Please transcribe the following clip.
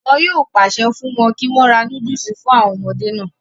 wọn yóò pàṣẹ fún wọn kí wọ́n ra núdùsì fún àwọn ọmọdé náà